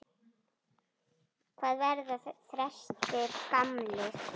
Hvað verða þrestir gamlir?